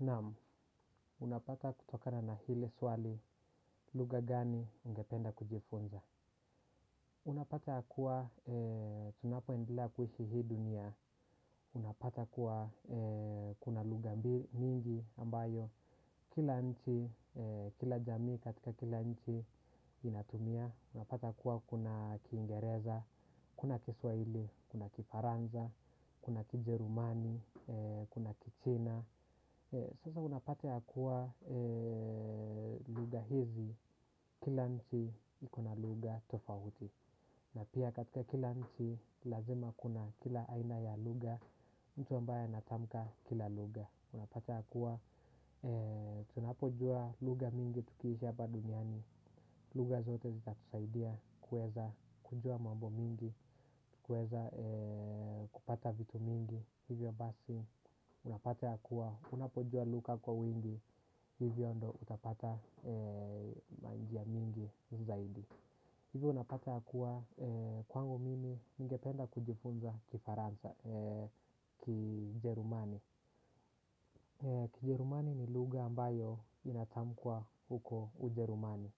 Naam, unapata kutokana na ile swali lugha gani ungependa kujifunza. Unapata kuwa tunapoendelea kuishi hii dunia. Unapata kuwa kuna lugha mingi ambayo kila nchi, kila jamii katika kila nchi inatumia. Unapata kuwa kuna kiingereza, kuna kiswahili, kuna kifaranza, kuna kijerumani, kuna kichina. Sasa unapata ya kuwa lugha hizi kila nchi iko na lugha tofauti. Na pia katika kila nchi lazima kuna kila aina ya lugha. Mtu ambaye anatamka kila lugha unapata ya kuwa tunapojua lugha mingi tukiishi hapa duniani. Lugha zote zitatusaidia kueza kujua mambo mingi. Kueza kupata vitu mingi. Hivyo basi unapata ya kuwa unapojua lugha kwa wingi. Hivyo ndo utapata manjia mingi zaidi. Hivyo unapata ya kuwa kwangu mimi ningependa kujifunza kifaransa kijerumani Kijerumani ni lugha ambayo inatamkwa huko ujerumani.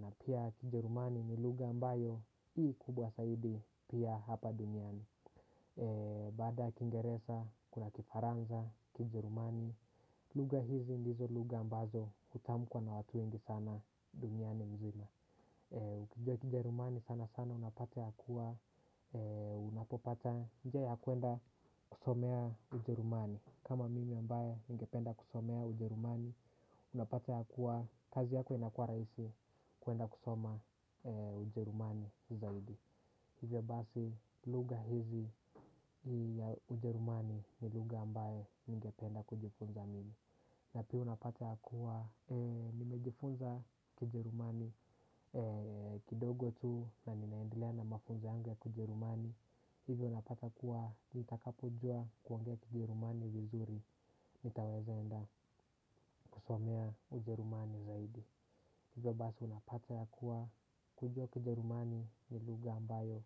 Na pia kijerumani ni lugha ambayo i kubwa saidi pia hapa duniani. Baada ya kiingeresa, kuna kifaranza, kijerumani. Lugha hizi ndizo lugha ambazo hutamkwa na watu wengi sana duniani mzima. Ukijua kijerumani sana sana unapata ya kuwa unapopata njia ya kuenda kusomea ujerumani. Kama mimi ambaye ningependa kusomea ujerumani unapata ya kuwa kazi yako inakua rahisi kuenda kusoma ujerumani zaidi. Hivyo basi lugha hizi ya ujerumani ni lugha ambaye ningependa kujifunza mimi. Na pia unapata ya kuwa nimejifunza kijerumani kidogo tu na ninaendelea na mafunzo yangu ya kijerumani. Hivyo unapata kuwa nitakapojua kuongea kijerumani vizuri nitaweza enda kusomea ujerumani zaidi. Hivyo basi unapata ya kuwa kujua kijerumani ni lugha ambayo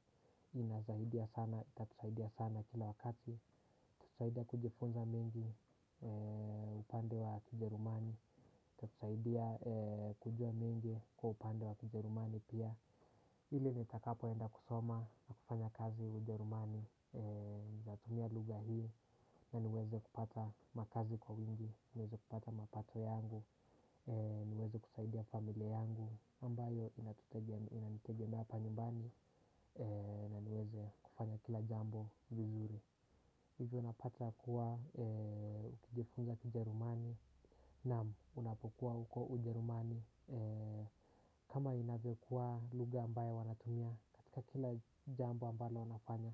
inasaidia sana, itatusaidia sana kila wakati, itatusaidia kujifunza mengi upande wa kijerumani, itatusaidia kujua mengi kwa upande wa kijerumani pia. Ili nitakapoenda kusoma na kufanya kazi ujerumani, natumia lugha hii na niweze kupata makazi kwa wingi, niweze kupata mapato yangu, niweze kusaidia familia yangu, ambayo inanitegemea hapa nyumbani na niweze kufanya kila jambo vizuri. Hivyo unapata kuwa ukijifunza kijerumani. Naam, unapokuwa huko ujerumani. Kama inavyokuwa lugha ambayo wanatumia katika kila jambo ambalo wanafanya.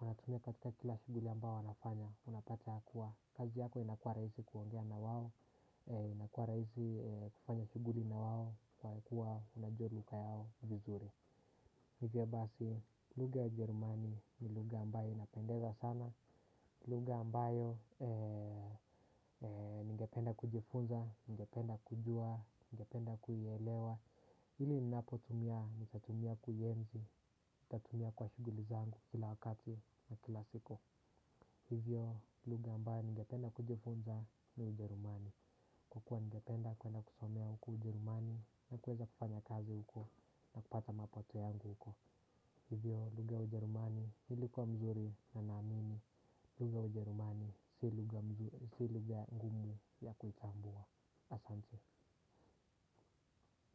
Wanatumia katika kila shughuli ambayo wanafanya. Unapata kuwa kazi yako inakua rahisi kuongea na wao. Inakua raisi kufanya shughuli na wao. Kwa kuwa unajua lugha yao vizuri hivyo basi lugha ya ujerumani ni lugha ambayo inapendeza sana. Lugha ambayo ningependa kujifunza, ningependa kujua, ningependa kuielewa ili ninapotumia nitatumia kuienzi, nitatumia kwa shughuli zangu kila wakati na kila siku. Hivyo lugha ambayo ningependa kujifunza ni ujerumani. Kwa kua ningependa kuenda kusomea huku ujerumani na kueza kufanya kazi huko na kupata mapato yangu huko. Hivyo lugha ya ujerumani ilikuwa mzuri na naamini lugha ya ujerumani si lugha ngumu ya kuitambua. Asante.